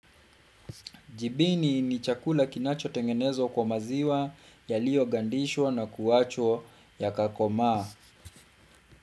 Jibini ni chakula kinachotengenezwa kwa maziwa yaliyogandishwa na kuwachwa yakakomaa.